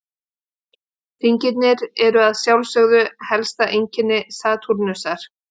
Hringirnir eru að sjálfsögðu helsta einkenni Satúrnusar.